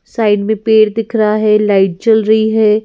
Side में पेड़ दिख रहा है लाइट जल रही है।